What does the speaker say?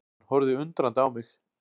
Hann horfði undrandi á mig.